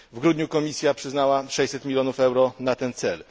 W grudniu Komisja przyznała 600 milionów euro na ten cel.